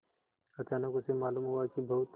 अचानक उसे मालूम हुआ कि बहुत